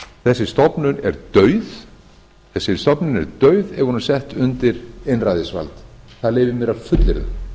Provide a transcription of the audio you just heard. þessi stofnun er dauð ef hún er sett undir einræðisvald það leyfi ég mér að fullyrða